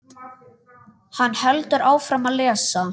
Hann heldur áfram að lesa: